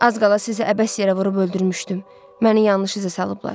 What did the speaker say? Az qala sizi əbəs yerə vurub öldürmüşdüm, məni yanlış iza salıblar.